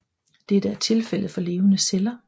Dette er tilfældet for levende celler